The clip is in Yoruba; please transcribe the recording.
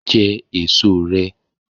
Jẹ èso rẹ!